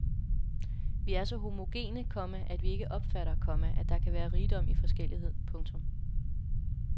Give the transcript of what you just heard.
Vi er så homogene, komma at vi ikke opfatter, komma at der kan være rigdom i forskellighed. punktum